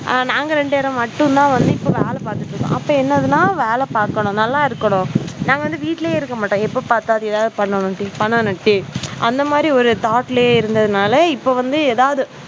நாங்க ரெண்டு பேரும் மட்டும்தான் வந்து இப்போ வேலை பாத்துட்டு இருக்கோம். அப்போ என்னன்னா வேலைய பாக்கணும் நல்லா இருக்கணும் நாங்க வந்து வீட்ல இருக்க மாட்டோம் எப்போ பார்த்தாலும் ஏதாவது பண்ணனும் டி பண்ணனும் டி அந்த மாதிரி ஒரு thought ல இருந்ததால இப்ப வந்து ஏதாவது,